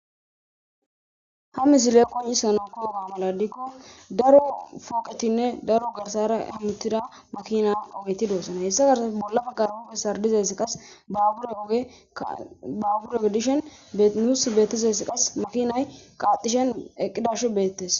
ha misile qonisa na kooga maladikko daro fooqetinne daro garsara himutida makina ogei doossana hessa karsaf bolla baggarhoppe sardizes qas baabure ogodishen beinuus beettesess qas makinay qaaxishen eqidashu beettes..